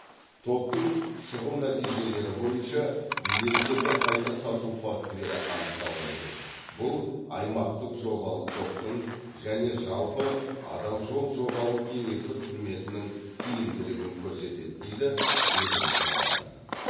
топтың шығу нәтижелері бойынша билеттерді қайта сату фактілері анықталған жоқ бұл аймақтық жобалық топтың және жалпы адал жол жобалық кеңсесі қызметінің тиімділігін көрсетеді дейді ведомстводан